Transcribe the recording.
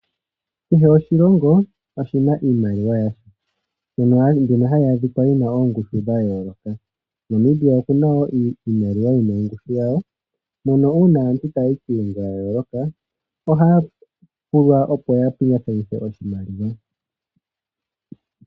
Kehe oshilongo oshina iimaliwa yasho, iimaliwa mbyono hayi adhika yina oongushu dha yooloka. Namibia okuna iimaliwa yina ongushu yayo . Uuna aantu taya yi kiilongo ya yooloka ohaya pingekanitha iimaliwa.